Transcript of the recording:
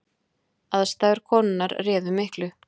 Aðstæður konunnar réðu miklu